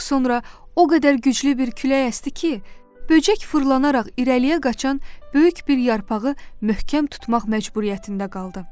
Ancaq sonra o qədər güclü bir külək əsdi ki, böcək fırlanaraq irəliyə qaçan böyük bir yarpağı möhkəm tutmaq məcburiyyətində qaldı.